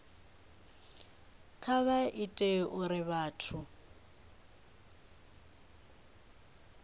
kha vha ite uri vhathu